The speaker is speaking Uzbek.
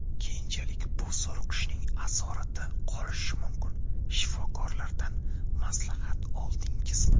Keyinchalik bu zo‘riqishning asorati qolishi mumkin, shifokorlardan maslahat oldingizmi?